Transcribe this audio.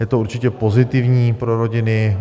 Je to určitě pozitivní pro rodiny.